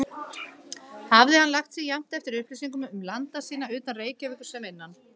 Hafði hann lagt sig jafnt eftir upplýsingum um landa sína utan Reykjavíkur sem innan.